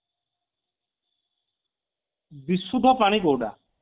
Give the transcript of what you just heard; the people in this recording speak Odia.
ବିସୁଦ୍ଧା ପାଣି କୋଉଟା